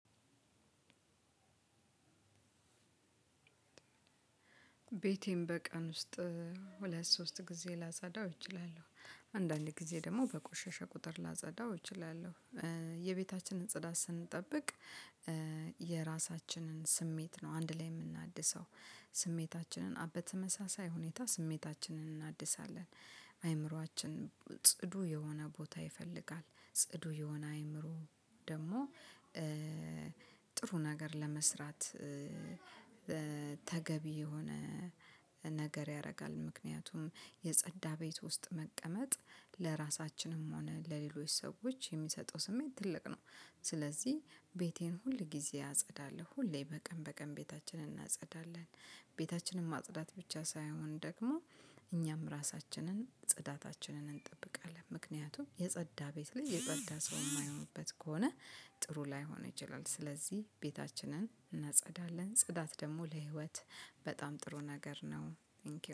ቤቴን በቀን ውስጥ ሁለት ሶስት ጊዜ ላጸዳው እችላለው አንዳንዴ ጊዜ ደሞ በቆሸሸ ቁጥር ላጸዳው እችላለው። የቤታችንን ጽዳት ስንጠብቅ የራሳችንን ስሜት ነው አንድ ላይ የምናድሰው። ስሜታችንን በተመሳሳይ ሁኔታ ስሜታችንን እናድሳለን። አእምሯችን ጽዱ የሆነ ቦታ ይፈልጋል ጽዱ የሆነ አእምሮ ደሞ። ጥሩ ነገር ለመስራት። ተገቢ የሆነ ነገር ያረጋል ምክንያቱም የጸዳ ቤት ውስጥ መቀመጥ ለራሳችንም ሆነ ለሌሎች ሰዎች የሚሰጠው ስሜት ትልቅ ነው። ስለዚህ ቤቴን ሁል ጊዜ አጸዳለው ሁሌ በቀን በቀን ቤታችንን እናጸዳለን። ቤታችንን ማጽዳት ብቻ ሳይሆን ደግሞ እኛም ራሳችንን ጽዳታችንን እንጠብቃለን ምክንያቱም የፀዳ ቤት ላይ የፀዳ ሰው ማይኖርበት ከሆነ። ጥሩ ላይሆን ይችላል ስለዚህ ቤታችንን እናጸዳለን። ጽዳት ደሞ ለህይወት በጣም ጥሩ ነገር ነው ተንኪው